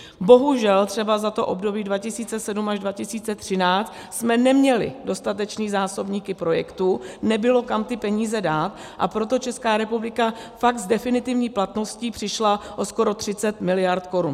Bohužel třeba za to období 2007 až 2013 jsme neměli dostatečné zásobníky projektů, nebylo kam ty peníze dát, a proto Česká republika fakt s definitivní platností přišla o skoro 30 mld. korun.